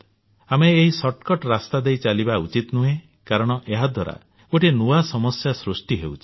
ଆମେ ଏହି ସର୍ଟକଟ୍ ରାସ୍ତାଦେଇ ଚାଲିବା ଉଚିତ ନୁହେଁ କାରଣ ଏହାଦ୍ୱାରା ଗୋଟିଏ ନୂଆ ସମସ୍ୟା ସୃଷ୍ଟି ହେଉଛି